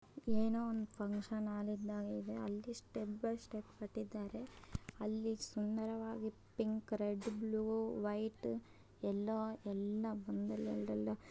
ಎಲ್ಲೋ ಒಂದು ಫಂಕ್ಷನ್ ಮಾಡಿದ್ದಾರೆ ಅಲ್ಲಿ ಸ್ಟೆಪ್ ಬೈ ಸ್ಟೆಪ್ ಲ್ಲಿ ಪಿಂಕ್ ರೆಡ್ ವೈಟ್ ಬ್ಲೂ ಎಲ್ಲೋ